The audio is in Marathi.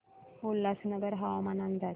उल्हासनगर हवामान अंदाज